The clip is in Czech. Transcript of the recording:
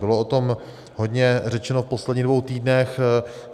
Bylo o tom hodně řečeno v posledních dvou týdnech.